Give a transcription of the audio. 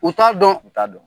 U t'a dɔn u t'a dɔn